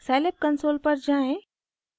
scilab console पर जाएँ